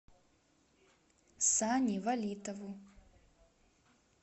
сане валитову